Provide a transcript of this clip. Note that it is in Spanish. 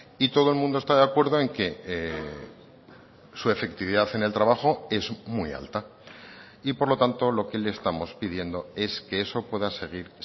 y todo el mundo está de acuerdo en que su efectividad en el trabajo es muy alta y por lo tanto lo que le estamos pidiendo es que eso pueda seguir